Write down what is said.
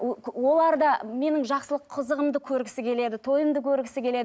олар да менің жақсылық қызығымды көргісі келеді тойымды көргісі келеді